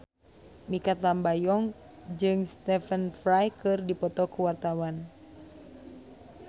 Mikha Tambayong jeung Stephen Fry keur dipoto ku wartawan